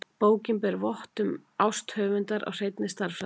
Bókin ber vott um ást höfundar á hreinni stærðfræði.